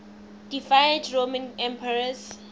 deified roman emperors